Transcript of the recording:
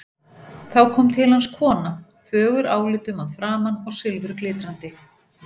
Þá kom til hans kona, fögur álitum að framan og silfurglitrandi.